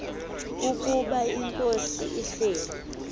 ukuba inkosi ihleli